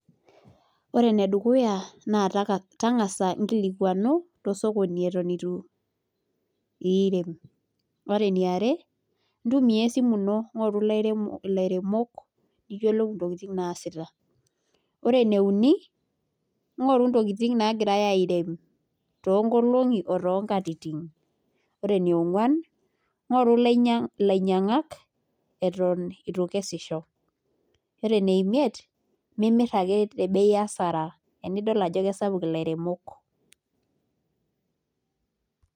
Ore ene dukuya taa taka tang'asa nkilikuanu to osokoni eton itu iirem. Ore eniare ntumia esimu ino ng'oru lairemo ilairemok niyiolou intokitin naasita. Ore ene uni ing'oru intokitin naagiai airem too nkolong'i oo too nkatitin, ore ene ong'uan ng'oru ilainya ilainyang'ak eton itu ikesisho, ore ene imiet mimir ake te bei hasara enidol ajo esapuk ilairemok.